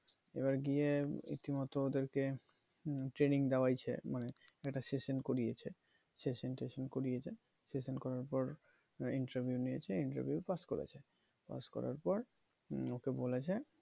এবার গিয়ে রীতি মতো ওদেরকে training দেওয়াইছে মানে একটা session করিয়েছে session টেশন করিয়েছে session করার পর interview নিয়েছে interview পাস করেছে পাস করার পর ওকে বলেছে